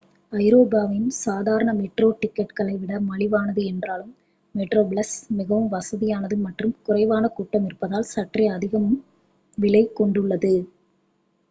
ஐரோப்பாவின் சாதாரண மெட்ரோ டிக்கெட்டுகளை விட மலிவானது என்றாலும் மெட்ரோப்ளஸ் மிகவும் வசதியானது மற்றும் குறைவான கூட்டம் இருப்பதால் சற்றே அதிக விலை கொண்டுள்ளது